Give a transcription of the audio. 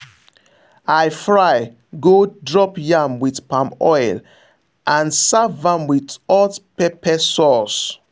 i fry gold drop yam with palm oil and serve am with hot pepper sauce.